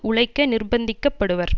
உழைக்க நிர்ப்பந்திக்கப்படுவர்